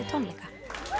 tónleika